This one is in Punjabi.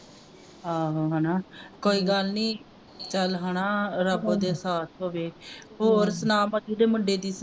ਆਹੋ ਹਣਾ ਕੋਈ ਗੱਲ ਨੀ ਚੱਲ ਹਣਾ ਰੱਬ ਉਹਦੇ ਸਾਥ ਹੋਵੇ ਹੋਰ ਸੁਣਾ ਮਧੂ ਦੇ ਮੁੰਡੇ ਦੀ ਸੁਣਾ